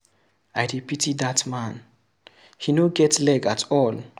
I dey pity dat man, he no get leg at all.